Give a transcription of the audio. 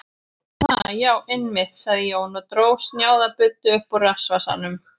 Ha, já, einmitt, sagði Jón og dró snjáða buddu upp úr rassvasanum.